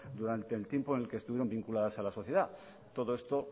durante el tiempo en el que estuvieron vinculadas a la sociedad todo esto